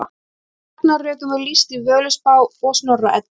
Ragnarökum er lýst í Völuspá og Snorra Eddu.